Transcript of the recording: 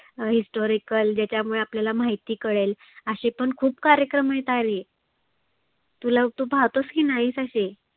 अं historical ज्याच्यामुळे आपल्याला माहिती कळेल. आसे पण खुप कार्यक्रम आहेत आरे. तुला तु पाहतोस की नाहीस असे?